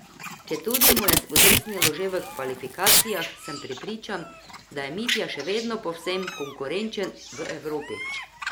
Četudi mu je spodrsnilo že v kvalifikacijah, sem prepričan, da je Mitja še vedno povsem konkurenčen v Evropi.